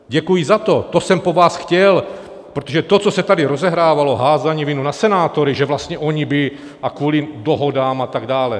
Děkuji za to, to jsem po vás chtěl, protože to, co se tady rozehrávalo, házení viny na senátory, že vlastně oni by - a kvůli dohodám a tak dále.